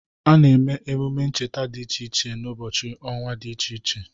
A na-eme emume ncheta dị iche iche n'ụbọchị ọnwa dị iche iche.